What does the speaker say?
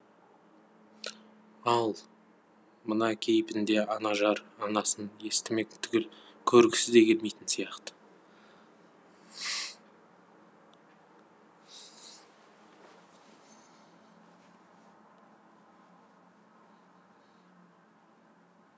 ал мына кейпінде анажар анасын естімек түгіл көргісі де келмейтін сияқты